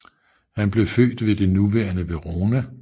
Han blev født ved det nuværende Verona